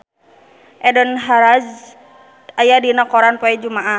Eden Hazard aya dina koran poe Jumaah